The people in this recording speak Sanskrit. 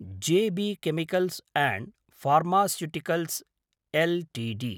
J B chemicals and pharmaceuticals Ltd